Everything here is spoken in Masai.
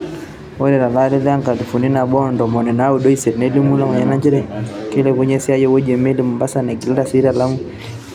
Ore to lari le nkalifu nabo o ntomoni naudo o isiet, Nelimu Lemayian nchere keilepunye esiiai te wueji o meeli e Mombasa neigila sii te Lamu.